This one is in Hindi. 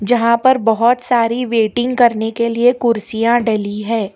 यहां पर बहोत सारी वेटिंग करने के लिए कुर्सियां डली है।